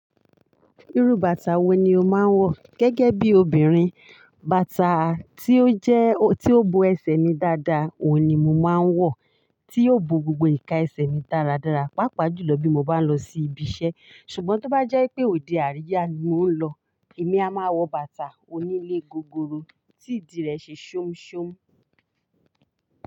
Irú bàtà wo ni o máa ń wọ gẹ́gẹ́ bí obìnrin? Bàtà tí ó jẹ́, tí ó bo ẹsẹ̀ mi dáadáa, òun ni mo máa ń wọ, tí yóò bo gbogbo ìka ẹsẹ̀ mi dáradára, pàápàá jùlọ bí mo bá ń lọ sí ibi iṣẹ́. Ṣùgbọ́n tó bá jẹ́ pé òde àríyá ni mo ń lọ, èmi a máa wọ bàtà onílé gogoro tí ìdí rẹ̀ ṣe ṣomṣom.